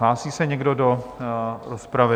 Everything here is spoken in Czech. Hlásí se někdo do rozpravy?